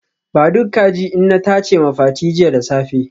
Ba duk kaji inna tace ma Fati jiya da safe